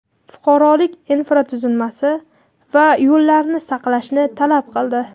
fuqarolik infratuzilmasi va yo‘llarni saqlashni talab qildi.